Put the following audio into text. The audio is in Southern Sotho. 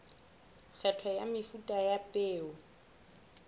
kgetho ya mefuta ya peo